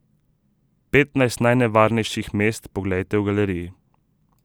Petnajst najnevarnejših mest poglejte v galeriji.